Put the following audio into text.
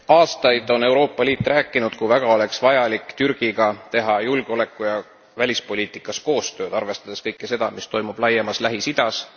Aastaid on Euroopa Liit rääkinud, kui väga oleks vaja teha Türgiga julgeoleku ja välispoliitikaalast koostööd, arvestades kõike seda, mis toimub laiemas Lähis Idas.